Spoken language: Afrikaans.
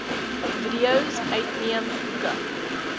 videos uitneem boeke